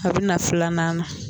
A bɛna filanan na